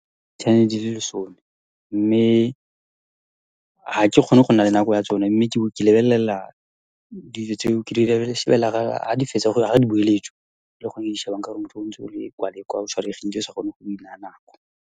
Channel-e di le lesome, mme ha ke kgone go nna le nako ya tsone mme ke lebelela dilo tseo ke ha di fetsa, ha di boeletswa ke gone ke di shebang ka gore motho o ntse o ya kwa le kwa, o tshwaregile o sa kgone go di naya nako.